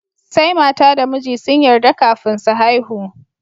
Sai mata da miji sun yarda kafin su haihu.